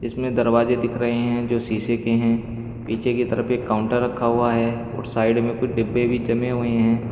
इसमें दरवाजे दिख रहे हैं जो शीशे के हैं पीछे की तरफ एक काउंटर रखा हुआ है और साइड में कुछ डिब्बे भी जमे हुए हैं।